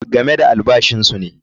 Game da albashinsu ne.